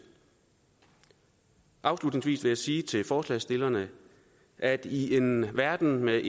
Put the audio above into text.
afslutningsvis vil jeg sige til forslagsstillerne at i en verden med